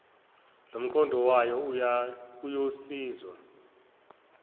lomqondo wayo uyosizwa